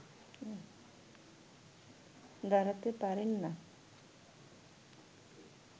দাঁড়াতে পারেন না